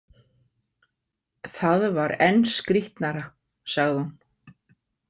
Það var enn skrítnara, sagði hún.